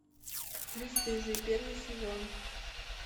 бесстыжие первый сезон